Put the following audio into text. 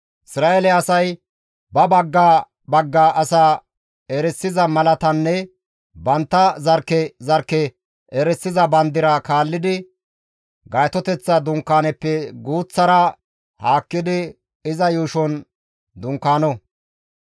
«Isra7eele asay ba bagga bagga asaa erisiza malatanne bantta zarkke zarkke erisiza bandira kaallidi Gaytoteththa Dunkaanezappe guuththara haakkidi iza yuushon dunkaano.»